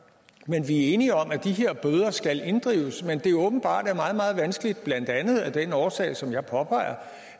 men vi er enige om at de her bøder skal inddrives men det jo åbenbart er meget meget vanskeligt blandt andet af den årsag som jeg påpeger